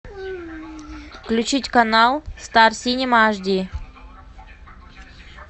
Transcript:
включить канал стар синема аш ди